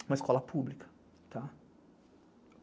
Uma escola pública.